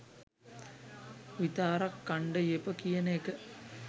විතාරක් කන්ඩ යෙප කියන එක